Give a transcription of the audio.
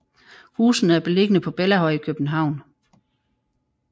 Husene er beliggende på Bellahøj i København